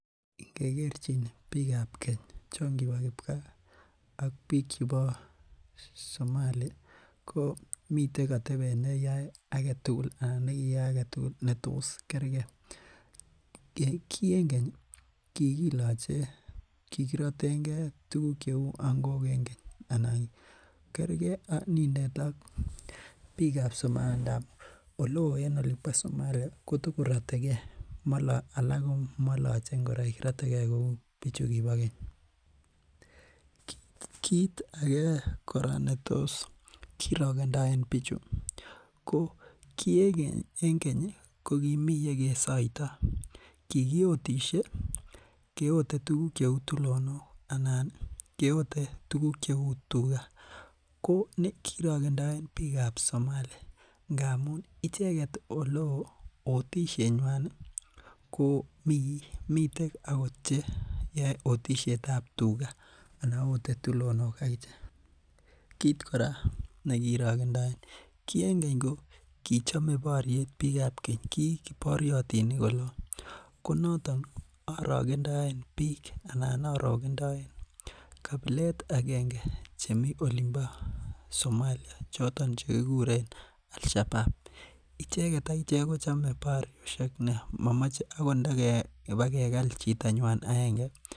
Ingegerchin bikab keny chon kibo kipkaa ak biik ab Somali ko miten atebet negiyai anan neyoen agetugul netos kergei, kii en keny ii kikiloje, kikirotengen tuguk cheu ang'ok en keny anan kergen nindet ak bikab Somalia ngab oleo en Somalia kotogorotegee alak ko maloje ingoroik maloche ngoroik rotegen kou chukibo keny, kiit age kora netos kirogendoen bichu ko kii en keny ii kokimi yekesoito, kigiyotisie keyote tulonok anan keote tuguk cheu tuga ko kirogendoen bikab Somalia ngamun icheget oleo otisienywan ii miten che okot yoe otisiet ab tuga anan ote tulonok agichek, kiit kora nekirogendoen, kii en keny ko kichome boryet bikab keny, kii koboryotinik oleo ko noton orogendoen biik anan orogendoen kabilet agenge chemi olimpo Somalia choton chekikuren Al shabaab, icheget akichek kochome boryosyek nia momoche inibakegal chitanywan agenge.